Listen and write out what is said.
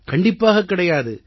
கண்டிப்பாக கிடையாது